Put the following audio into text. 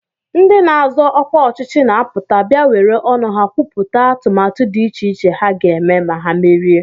Ndị na-azọ ọkwa ọchịchị na-apụta bịa were ọnụ ha kwupụta atụmatụ dị iche iche ha ga-eme ma ha merie